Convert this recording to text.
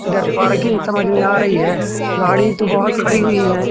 इधर पार्किंग समझ में आ रही है गाड़ी तो बहोत खड़ी हुई हैं।